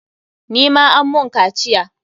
Ni ma an mun kaciya.